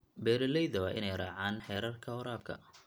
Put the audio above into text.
Beeralayda waa inay raacaan xeerarka waraabka.